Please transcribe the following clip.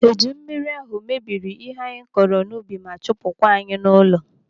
Eju mmiri ahụ mebiri ihe anyị kọrọ n'ubi ma chụpụ kwa anyị n'ụlọ.